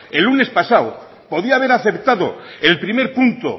el lunes pasado podía haber aceptado el primer punto